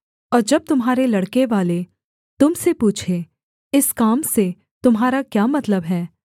और जब तुम्हारे लड़के वाले तुम से पूछें इस काम से तुम्हारा क्या मतलब है